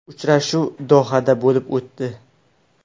Uchrashuv Dohada bo‘lib o‘tdi.